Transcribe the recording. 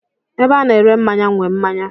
Ebe a na-ere mmanya nwe mmanya.